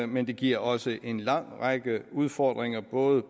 men det giver også en lang række udfordringer både